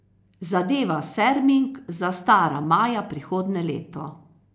Zadeva Serming zastara maja prihodnje leto.